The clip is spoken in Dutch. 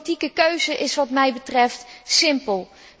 De politieke keuze is wat mij betreft simpel.